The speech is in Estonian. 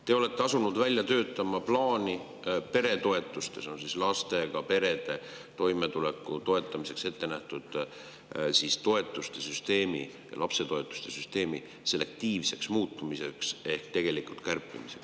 Te olete asunud välja töötama peretoetuste plaani, et muuta lastega perede toimetuleku toetamiseks ettenähtud lapsetoetuste süsteemi selektiivseks ehk tegelikult nende kärpimist.